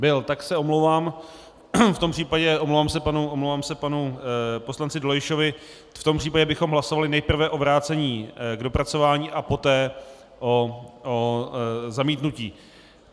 Byl, tak se omlouvám, v tom případě omlouvám se panu poslanci Dolejšovi, v tom případě bychom hlasovali nejprve o vrácení k dopracování a poté o zamítnutí.